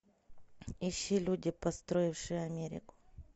ищи люди построившие америку